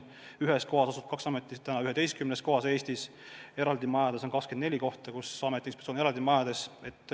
Ühes asulas asub kaks ametit näiteks 11 kohas Eestis, eraldi majades on 24 kohta, kus amet ja inspektsioon tegutsevad.